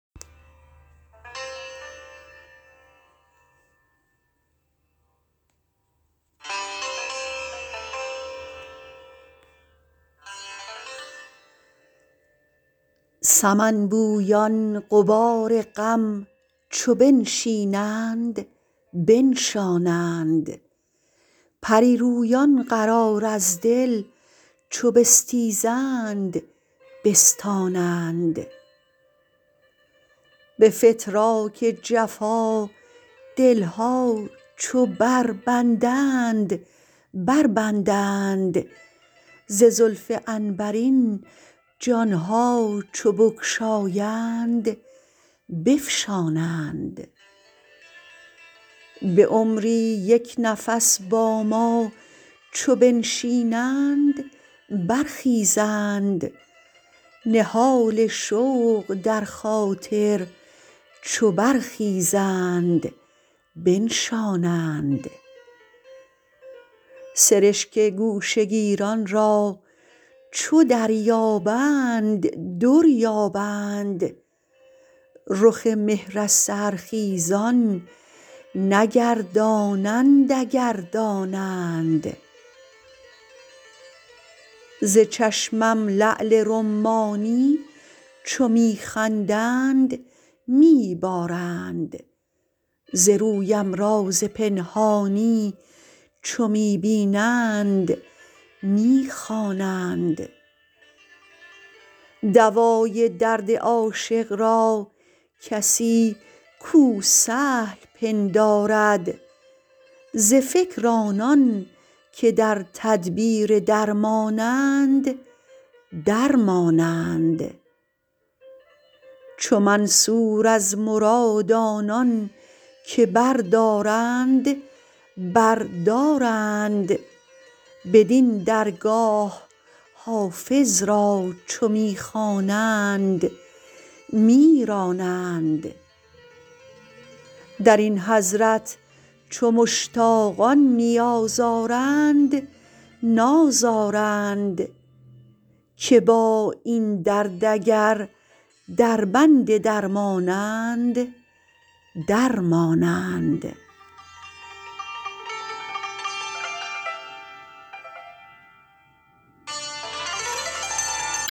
سمن بویان غبار غم چو بنشینند بنشانند پری رویان قرار از دل چو بستیزند بستانند به فتراک جفا دل ها چو بربندند بربندند ز زلف عنبرین جان ها چو بگشایند بفشانند به عمری یک نفس با ما چو بنشینند برخیزند نهال شوق در خاطر چو برخیزند بنشانند سرشک گوشه گیران را چو دریابند در یابند رخ مهر از سحرخیزان نگردانند اگر دانند ز چشمم لعل رمانی چو می خندند می بارند ز رویم راز پنهانی چو می بینند می خوانند دوای درد عاشق را کسی کو سهل پندارد ز فکر آنان که در تدبیر درمانند در مانند چو منصور از مراد آنان که بردارند بر دارند بدین درگاه حافظ را چو می خوانند می رانند در این حضرت چو مشتاقان نیاز آرند ناز آرند که با این درد اگر دربند درمانند در مانند